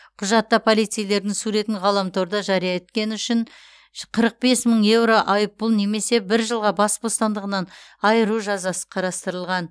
құжатта полицейлердің суретін ғаламторда жария еткені үшін қырық бес мың еуро айыппұл немесе бір жылға бас бостандығынан айыру жазасы қарастырылған